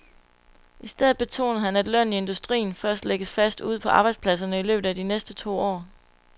I stedet betonede han, at lønnen i industrien først lægges fast ude på arbejdspladserne i løbet af de næste to år.